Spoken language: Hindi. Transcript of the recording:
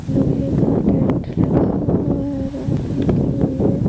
लोहे का टेंट लगा हुआ है रोड लगी हुई है।